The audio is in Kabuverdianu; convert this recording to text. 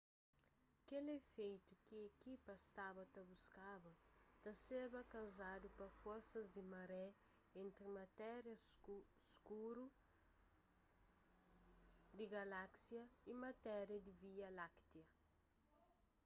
kel ifeitu ki ekipa staba ta buskaba ta serba kauzadu pa forsas di maré entri matéria skuru di galáksia y matéria di via láktia